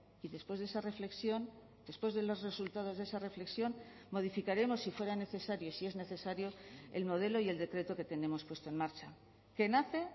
y después de esa reflexión después de los resultados de esa reflexión modificaremos si fuera necesario si es necesario el modelo y el decreto que tenemos puesto en marcha que nace